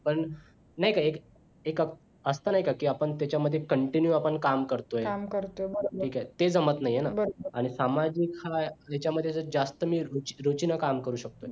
पण नाही का एक एक असतं नाही का कि आपण त्याच्यामध्ये आपण continue काम करतोय ठीक आहे ते जमत नाहीये ना आणि सामाजिक हा त्याच्यामध्ये तर जास्त मी रुची रुचीन काम करू शकतोय